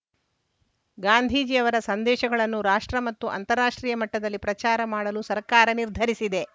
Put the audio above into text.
ಗಾಂಧೀಜಿ ಅವರ ಸಂದೇಶಗಳನ್ನು ರಾಷ್ಟ್ರ ಮತ್ತು ಅಂತಾರಾಷ್ಟ್ರೀಯ ಮಟ್ಟದಲ್ಲಿ ಪ್ರಚಾರ ಮಾಡಲು ಸರ್ಕಾರ ನಿರ್ಧರಿಸಿದೆ